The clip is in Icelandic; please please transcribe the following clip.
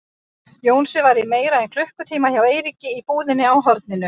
Jónsi var í meira en klukkutíma hjá Eiríki í búðinni á horninu.